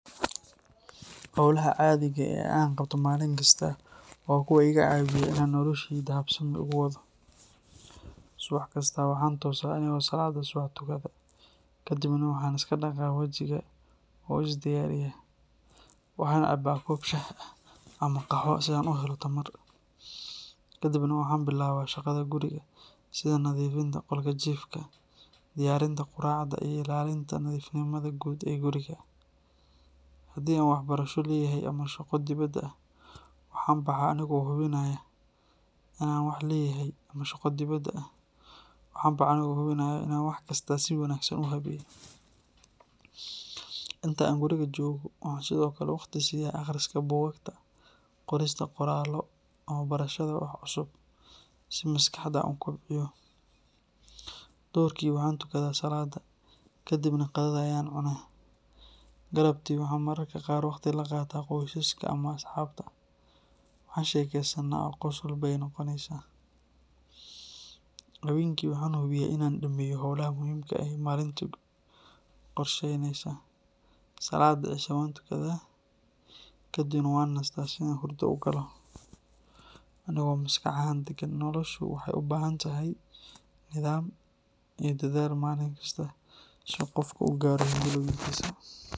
Howlaha caadiga ah ee aan qabto maalin kasta waa kuwo iga caawiya inaan nolosheyda habsami ugu wado. Subax kasta waxaan toosaa anigoo salaadda subax tukada, kadibna waxaan iska dhaqaa wajiga oo isdiyaariyaa. Waxaan cabaa koob shaah ah ama qaxwo si aan u helo tamar, kadibna waxaan bilaabaa shaqada guriga sida nadiifinta qolka jiifka, diyaarinta quraacda, iyo ilaalinta nadiifnimada guud ee guriga. Haddii aan waxbarasho leeyahay ama shaqo dibadda ah, waan baxaa anigoo hubinaya inaan wax kasta si wanaagsan u habeeyo. Inta aan guriga joogo waxaan sidoo kale waqti siiya akhriska buugaagta, qorista qoraallo, ama barashada wax cusub si maskaxda aan u kobciyo. Duhurkii waxaan tukadaa salaadda, kadibna qadada ayaan cunaa. Galabtii waxaan mararka qaar waqti la qaataa qoyskayga ama asxaabta, waan sheekaysannaa oo qosol bay noqonaysaa. Habeenkii waxaan hubiyaa inaan dhammeeyo howlaha muhiimka ah ee maalintaas qorshaysnaa, salaadda cishana waan tukadaa, kadibna waxaan nastaa si aan hurdada u galo anigoo maskax ahaan degan. Noloshu waxay u baahan tahay nidaam iyo dadaal maalin kasta si qofku u gaadho himilooyinkiisa.